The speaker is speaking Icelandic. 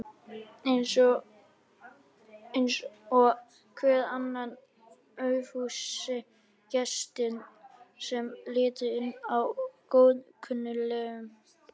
Eins og hver annar aufúsugestur sem lítur inn hjá góðkunningjum.